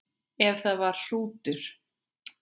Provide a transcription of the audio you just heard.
Ef það var hrútur.